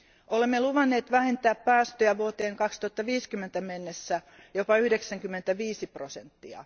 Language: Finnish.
Olemme luvanneet vähentää päästöjä vuoteen 2050 mennessä jopa 95 prosenttia.